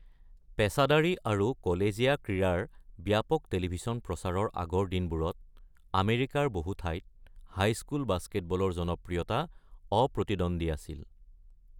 পেচাদাৰী আৰু কলেজীয়া ক্ৰীড়াৰ ব্যাপক টেলিভিছন প্ৰচাৰৰ আগৰ দিনবোৰত আমেৰিকাৰ বহু ঠাইত হাইস্কুল বাস্কেটবলৰ জনপ্ৰিয়তা অপ্ৰতিদ্বন্দ্বী আছিল।